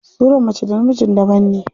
Surar mace da na mijin daban ne.